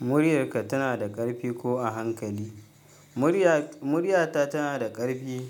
Muryarka tana da ƙarfi ko a hankali? Muryata tana da ƙarfi